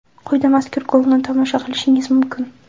Quyida mazkur golni tomosha qilishingiz mumkin.